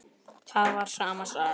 Það var sama sagan.